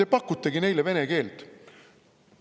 Te pakutegi neile vene keelt.